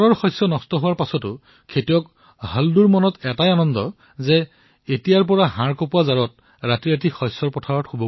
নিজৰ শস্য নষ্ট হোৱাৰ পিছতো হল্দু কৃষক এইবাবেই সুখী যে এইবাৰ শীতত তেওঁ খেতিত শুব নালাগিব